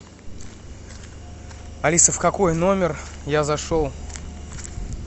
алиса в какой номер я зашел